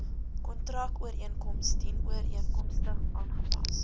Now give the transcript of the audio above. kontrakooreenkoms dienooreenkomstig aangepas